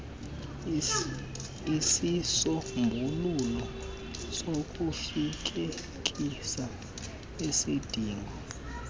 isisombululo sokufezekisa isidingo